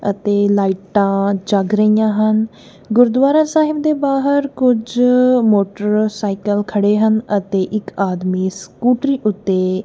ਅਤੇ ਲਾਈਟਾਂ ਜੱਗ ਰਹੀਆਂ ਹਨ ਗੁਰਦੁਆਰਾ ਸਾਹਿਬ ਬਾਹਰ ਕੁੱਝ ਮੋਟਰਸਾਈਕਲ ਖੜ੍ਹੇ ਹਨ ਅਤੇ ਇੱਕ ਆਦਮੀ ਸਕੂਟਰੀ ਓੱਤੇ --